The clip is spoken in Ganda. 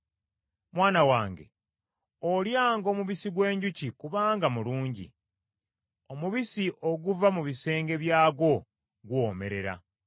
Mwana wange olyanga omubisi gw’enjuki kubanga mulungi, omubisi oguva mu bisenge byagwo guwoomerera.